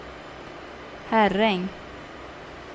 Herräng